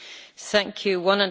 Arvoisa puhemies,